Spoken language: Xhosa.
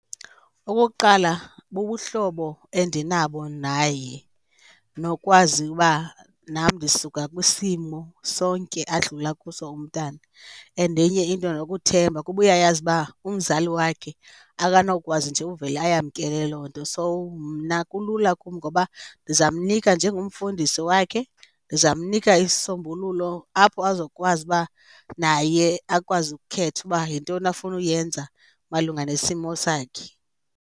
Okokuqala, bubuhlobo endinabo naye nokwazi uba nam ndisuka kwisimo sonke adlula kuso umntana and enye into nokuthemba kuba uyayazi uba umzali wakhe akanowukwazi nje uvele ayamkele loo nto. So, mna kulula kum ngoba ndizawumnika njengomfundisi wakhe ndizawumnika isisombululo apho azokwazi uba naye akwazi ukukhetha uba yintoni afuna uyenza malunga nesimo sakhe.